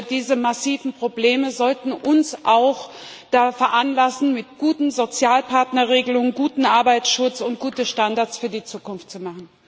Diese massiven Probleme sollten uns auch veranlassen, mit guten Sozialpartnerregelungen guten Arbeitsschutz und gute Standards für die Zukunft zu machen.